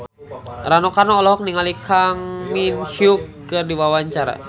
Rano Karno olohok ningali Kang Min Hyuk keur diwawancara